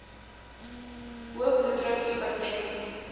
hoë bloeddruk hipertensie